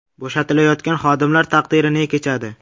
Bo‘shatilayotgan xodimlar taqdiri ne kechadi?